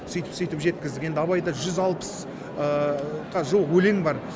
сөйтіп сөйтіп жеткіздік енді абайда жүз алпысқа жуық өлең бар